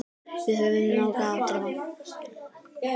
Við höfum nóg af teppum.